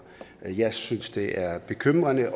jeg synes det er bekymrende